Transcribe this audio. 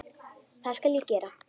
Það skal ég gera.